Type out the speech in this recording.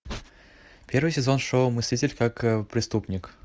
первый сезон шоу мыслить как преступник